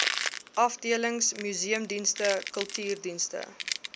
afdelings museumdienste kultuurdienste